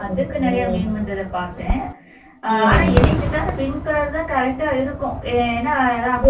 அதுக்கு நிறைய meme வந்ததை பாத்தேன் ஆனா என்னைய கேட்டா அந்த pink color தான் correct ஆ இருக்கும் ஏன்னா அதான்